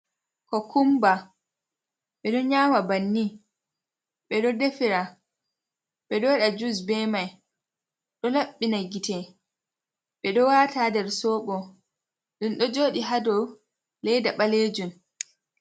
Kokumba be do nyama banni. beɗo defira. be ɗo waɗira jusd bemai. Do labbina gite be ɗo wata nder soobo. Ɗum ɗo joodi ha dau laida balejum.